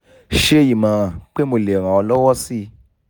ṣe ìmọ̀ràn pé mo lè ran ọ lọwọ sí i